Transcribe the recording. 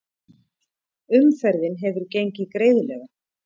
Umferðin hefur gengið greiðlega